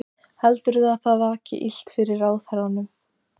Heldurðu að það vaki illt fyrir ráðherranum?